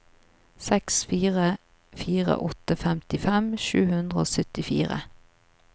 seks fire fire åtte femtifem sju hundre og syttifire